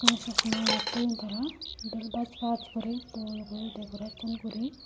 eyeni chosma eyot toyun tara doley Bach Bach gori dol gori decoreson gori.